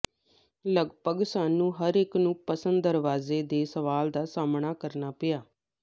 ਲਗਭਗ ਸਾਨੂੰ ਹਰ ਇੱਕ ਨੂੰ ਪਸੰਦ ਦਰਵਾਜ਼ੇ ਦੇ ਸਵਾਲ ਦਾ ਸਾਮ੍ਹਣਾ ਕਰਨਾ ਪਿਆ